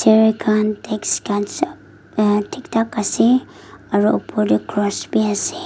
err khan desk khan sab ahh thik thak ase aru upor teh cross bhi ase.